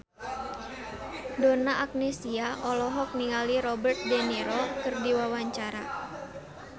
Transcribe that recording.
Donna Agnesia olohok ningali Robert de Niro keur diwawancara